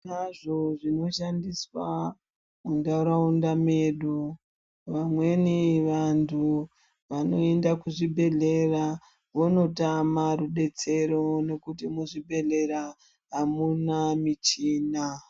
Tinazvo zvinoshandiswa mundaraunda medu vamweni vantu vanoenda kuzvibhedhlera vondotame rubetsero ngekuti muzvibhedhlera hamuna michina.